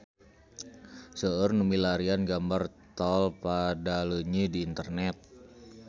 Seueur nu milarian gambar Tol Padaleunyi di internet